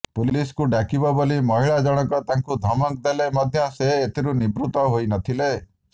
ପୁଲିସକୁ ଡାକିବ ବୋଲି ମହିଳାଜଣକ ତାଙ୍କୁ ଧମକ ଦେଲେ ମଧ୍ୟ ସେ ଏଥିରୁ ନିବୃତ ହୋଇ ନ ଥିଲେ